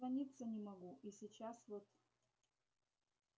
дозвониться не могу и сейчас вот